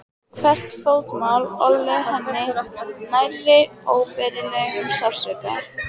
Hvert fótmál olli henni nærri óbærilegum sársauka.